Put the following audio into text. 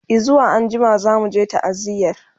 e zuwa anjima zamuje ta'aziyar